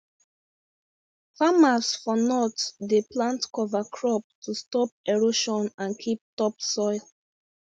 farmers for north dey plant cover crop to stop erosion and keep topsoil